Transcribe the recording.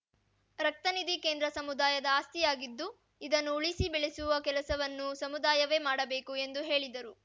ರಕ್ತನಿಧಿ ಕೇಂದ್ರ ಸಮುದಾಯದ ಆಸ್ತಿಯಾಗಿದ್ದು ಇದನ್ನು ಉಳಿಸಿ ಬೆಳೆಸುವ ಕೆಲಸವನ್ನು ಸಮುದಾಯವೇ ಮಾಡಬೇಕು ಎಂದು ಹೇಳಿದರು